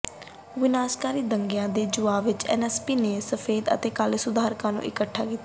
ਵਿਨਾਸ਼ਕਾਰੀ ਦੰਗਿਆਂ ਦੇ ਜਵਾਬ ਵਿਚ ਐਨਏਏਸੀਪੀ ਨੇ ਸਫੈਦ ਅਤੇ ਕਾਲੇ ਸੁਧਾਰਕਾਂ ਨੂੰ ਇਕਠਾ ਕੀਤਾ